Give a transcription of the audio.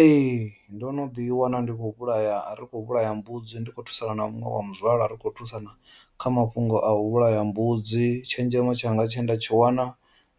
Ee, ndo no ḓi wana ndi khou vhulaya ri khou vhulaya mbudzi ndi kho thusana na muṅwe wa muzwala ri kho thusana kha mafhungo a u vhulaya mbudzi tshenzhemo tshanga tshe nda tshi wana